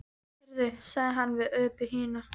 Heyrðu, sagði hann við Öbbu hina.